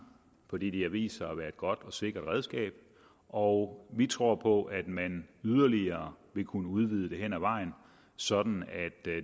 fordi det har vist sig at være et godt og sikkert redskab og vi tror på at man yderligere vil kunne udvide det hen ad vejen sådan at